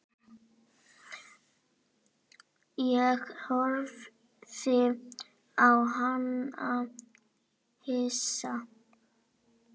Ég horfði á hana hissa.